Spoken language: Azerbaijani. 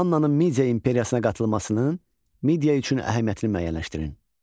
Mannanın Midiya imperiyasına qatılmasının Midiya üçün əhəmiyyətini müəyyənləşdirin.